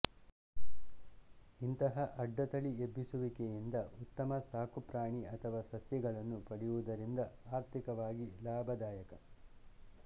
ಇಂತಹ ಅಡ್ಡತಳಿಯೆಬ್ಬಿಸುವಿಕೆಯಿಂದ ಉತ್ತಮ ಸಾಕುಪ್ರಾಣಿ ಅಥವಾ ಸಸ್ಯಗಳನ್ನು ಪಡೆಯುವುದರಿಂದ ಆರ್ಥಿಕವಾಗಿ ಲಾಭದಾಯಕ